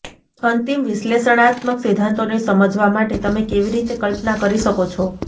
અંતિમ વિશ્લેષણાત્મક સિદ્ધાંતોને સમજવા માટે તમે કેવી રીતે કલ્પના કરી શકો છો